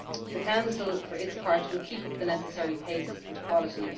better. The Council for its part will keep up the necessary pace and quality.